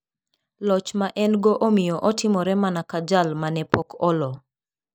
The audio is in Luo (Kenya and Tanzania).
Loch ma en go omiyo otimore mana ka jal mane pok olo.